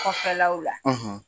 Kɔfɛlaw la.